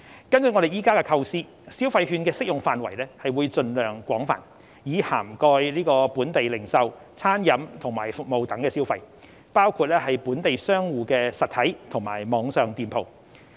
根據我們現時的構思，消費券的適用範圍會盡量廣泛，以涵蓋本地零售、餐飲及服務等消費，包括本地商戶的實體及網上店鋪。